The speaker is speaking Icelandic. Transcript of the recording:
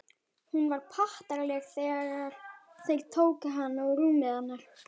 Hún var pattaraleg þegar þeir tóku hana og rúmið hennar.